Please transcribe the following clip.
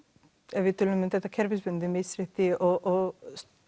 ef við tölum um þetta kerfisbundið misrétti og